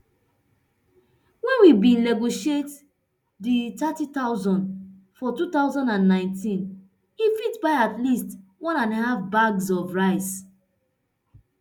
wen we bin negotiate di nthirty thousand for two thousand and nineteen e fit buy at least one and half bags of rice